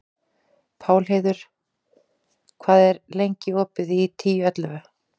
Pálheiður, hvað er lengi opið í Tíu ellefu?